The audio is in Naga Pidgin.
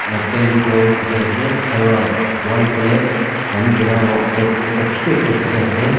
a building ghor dikhi ase aro wall filhe manu birabo gate ekta chotu ekta dikhi ase.